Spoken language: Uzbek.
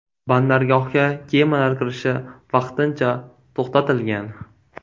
Bandargohga kemalar kirishi vaqtincha to‘xtatilgan.